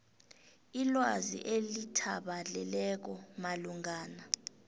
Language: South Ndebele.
ilwazi elithabaleleko malungana